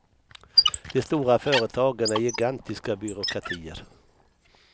De stora företagen är gigantiska byråkratier.